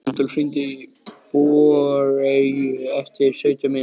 Rúdólf, hringdu í Bogeyju eftir sautján mínútur.